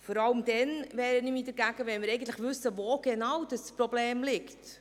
Ich wehre mich vor allem dann dagegen, wenn wir eigentlich wissen, wo das Problem genau liegt.